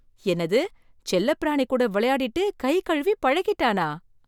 என்னது, செல்ல பிராணி கூட விளையாடிட்டு கை கழுவி பழகிட்டானா?